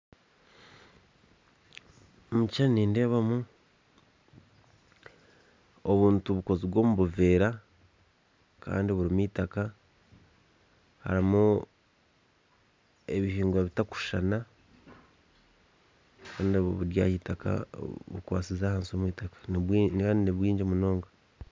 omu kishushani nindeebamu obuntu bukozirwe omu buveera kandi burimu itaka harimu ebihingwa bitakushushana kandi bukwasize ahansi omu itaka kandi na nibwingi munonga